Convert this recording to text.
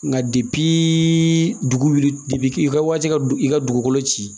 Nka dugu wuli i ka waati ka i ka dugukolo ci